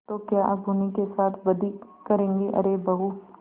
तो क्या अब उन्हीं के साथ बदी करेंगे अरे बहू